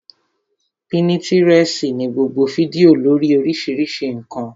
Pínítirẹsi ní gbogbo fídíò lórii oríṣiríṣi ǹkan